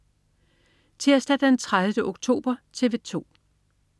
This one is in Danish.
Tirsdag den 30. oktober - TV 2: